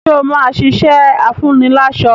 Ṣé o ṣì máa ṣiṣẹ́ afúniláṣọ́?